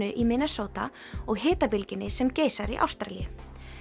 í Minnesota og hitabylgjunni sem geisar í Ástralíu